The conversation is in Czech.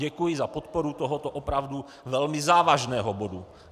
Děkuji za podporu tohoto opravdu velmi závažného bodu -